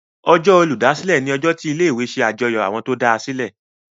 Ọjọ́ Olùdásílẹ̀ ní ojó tí ilé ìwé ṣe àjọyọ̀ Àwọn tó dasilẹ.